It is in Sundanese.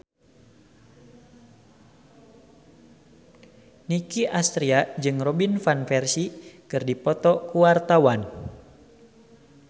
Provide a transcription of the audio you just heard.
Nicky Astria jeung Robin Van Persie keur dipoto ku wartawan